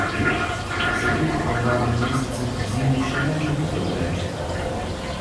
Se kljub pomladnim mesecem zimi še ne želite odreči?